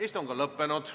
Istung on lõppenud.